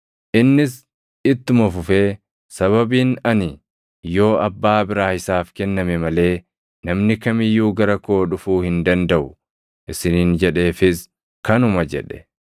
Innis ittuma fufee, “Sababiin ani, ‘Yoo Abbaa biraa isaaf kenname malee namni kam iyyuu gara koo dhufuu hin dandaʼu’ isiniin jedheefis kanuma” jedhe.